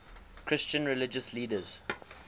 christian religious leaders